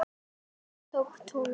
Þannig verða til Tólfur.